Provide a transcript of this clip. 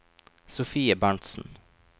Sofie Berntzen